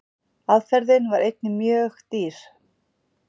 Aðferðin var einnig mjög dýr.